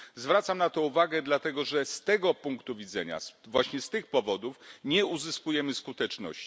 Zwracam na to uwagę dlatego, że z tego punktu widzenia, z tych właśnie powodów nie uzyskujemy skuteczności.